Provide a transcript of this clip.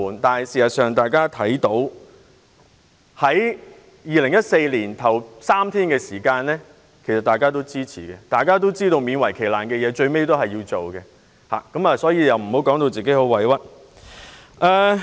但是，他在2014年就3天侍產假作出表決時，卻勉為其難地表示支持，所以他不應感到委屈。